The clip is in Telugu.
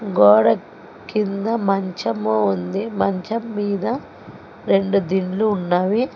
గోడ కింద మంచము ఉంది మంచం మీద రెండు దిండ్లు ఉన్నాయి.